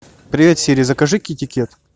привет сири закажи китикет